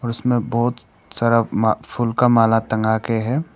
उसमे बहुत सारा मा फूल का माला टंगा के है।